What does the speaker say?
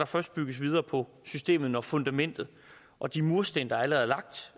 først bygges videre på systemet når fundamentet og de mursten der allerede